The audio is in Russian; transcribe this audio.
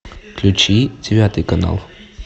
включи девятый канал